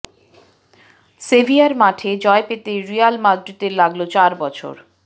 severe মাঠে জয় পেতে রিয়াল মাদ্রিদের লাগল চার বছর